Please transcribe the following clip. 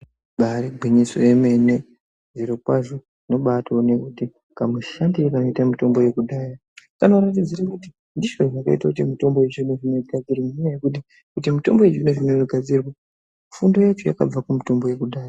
Ibari gwinyiso yemene, zvirokwazvo unobatoone kuti kamushandire kanoita mitombo yekudhaya, kanoratidzire kuti ndizvo zvakaite kuti mitombo yechizvino-zvino igadzirwe. Nenyaya yekuti kuti mitombo yechizvino inogadzirwa, fundo yacho yakabva kumutombo yekudhaya.